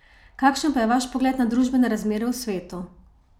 Kakšen pa je vaš pogled na družbene razmere v svetu?